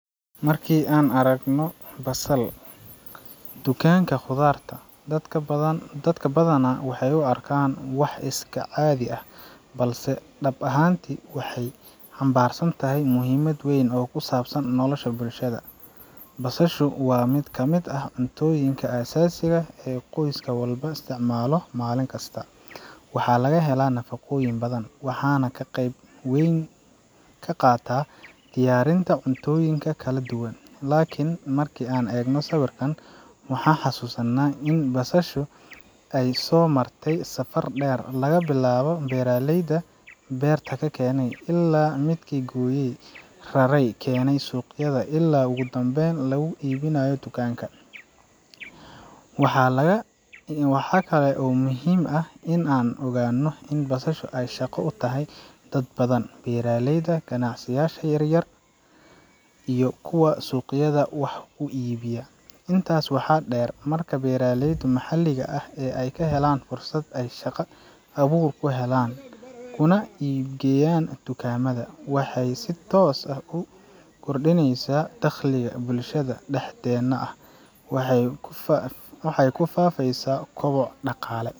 Marka aan aragno basal, dukaanka khudaarta, dad badan ,dadka badanaa waxay u arkaan wax iska caadi ah, balse dhab ahaantii waxay xambaarsan tahay muhiimad weyn oo ku saabsan nolosha bulshada. Basashu waa mid ka mid ah cuntooyinka aasaasiga ah ee qoyska walbo isticmaalo maalin kasta. Waxaa laga helaa nafaqooyin badan, waxayna ka qeyb weyn ka qaadataa diyaarinta cuntooyinka kala duwan. Laakiin marki aan eegno sawirkan, waxaan xasuusannaa in basashu ay soo martay safar dheer – laga bilaabo beeraleyda beerta kenay, ilaa midkii gooyay, raray, keenay suuqyada, ilaa ugu dambeyn lagu iibinayo dukaanka. Waxaa laga ,Waxaa kale oo muhiim ah in aan ogaanno in basashu ay shaqo u tahay dad badan beeraleyda, ganacsiyasha yar-yar, iyo kuwa suuqyada wax ku iibiya. Intaas waxaa dheer, marka beeraleydu maxalliga ah ay helaan fursad ay shaqa abuur ku helaan kuna iibgeeyaan dukaamada, waxay si toos ah u korodhineysaa dakhliga, bulshada dhexdeena ah waxay ku faafaysaa koboc dhaqaale.